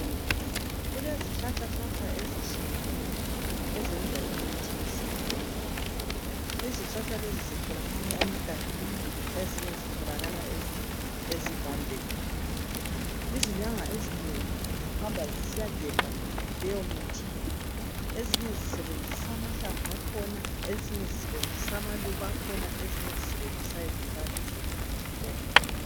Kulezihlahla ezitshiyeneyo ezenza imithi yesintu. Izihlahla lezi zitholakala egangeni ezinye zitholakala ezivandeni. Izinyanga ezinengi zihamba zisiyagebha leyomithi. Ezinye zisebenzisa amahlamvu akhona, ezinye amaluba ezinye njalo izimpande zakhona.